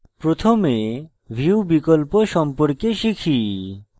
প্রথমে view বিকল্প সম্পর্কে শিখি